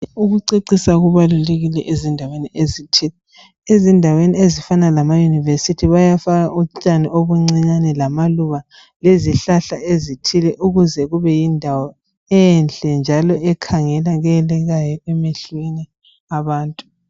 Ukucecisa kubalulekile ezindaweni ezithile. Ezindaweni ezifana lamaYunivesi bayafaka utshani obuncinyane lamaluba lezihlahla ezithile ukuze kube yindawo enhle njalo ekhangelekekayo emehlweni abantu.